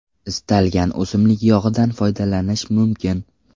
Istalgan o‘simlik yog‘idan foydalanish mumkin.